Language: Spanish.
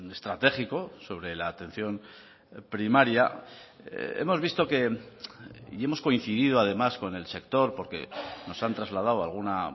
estratégico sobre la atención primaria hemos visto que y hemos coincidido además con el sector porque nos han trasladado alguna